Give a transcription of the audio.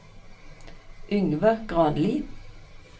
Yngve Granli